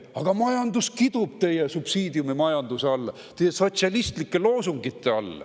Aga majandus kidub teie subsiidiumimajanduse all, teie sotsialistlike loosungite all.